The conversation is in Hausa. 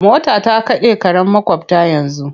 Mota ta kaɗe karen maƙwabta yanzu.